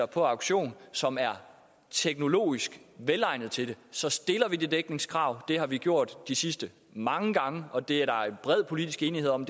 på auktion som er teknologisk velegnede til det så stiller vi det dækningskrav det har vi gjort de sidste mange gange og det er der bred politisk enighed om